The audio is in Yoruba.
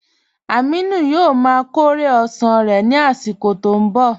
Amìnù yóò má kọ̀rẹ̀ osán rẹ̀ nì àsìkò tó n bọ